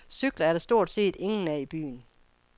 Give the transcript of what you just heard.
Cykler er der stort set ingen af i byen.